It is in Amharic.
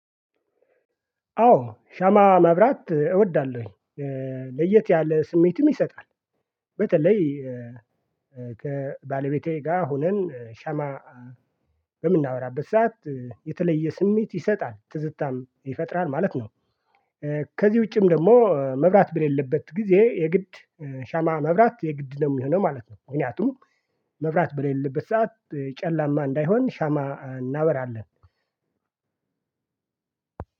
አዎ ሻማ ማብራት እወዳለሁኝ ለየት ያለ ስሜትም ይሰጣል። በተለይ ከባለቤቴ ጋር ሆነን ሻማ በምናበራበት ሰዓት የተለየ ስሜት ይሰጣል ትዝታም ይፈጥራል ማለት ነው። ከዚህ ውጪም ደግሞ መብራት በሌለበት ጊዜ የግድ ሻማ መብራት የግድ ነው የሚሆነው ማለት ነው። ምክንያቱም መብራት በሌለበት ሰዓት ጨለማ እንዳይሆን ሻማ እናበራለን።